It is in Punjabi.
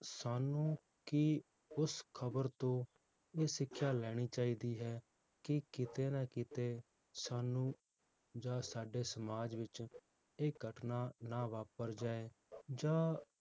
ਸਾਨੂੰ ਕਿ ਉਸ ਖਬਰ ਤੋਂ ਇਹ ਸਿੱਖਿਆ ਲੈਣੀ ਚਾਹੀਦੀ ਹੈ ਕਿ ਕਿਤੇ ਨਾ ਕਿਤੇ ਸਾਨੂੰ ਜਾਂ ਸਾਡੇ ਸਮਾਜ ਵਿਚ ਇਹ ਘਟਨਾ ਨਾ ਵਾਪਰ ਜਾਏ ਜਾਂ